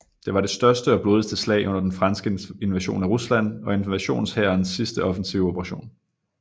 Det var det største og blodigste slag under den franske invasion af Rusland og invasionshærens sidste offensive operation